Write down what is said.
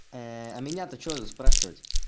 а меня то что спрашивать